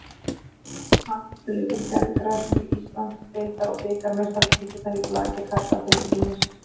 Handboltaleikur á gervigrasinu, Íslands- deildar og bikarmeistaratitlarnir í blaki karla til sýnis.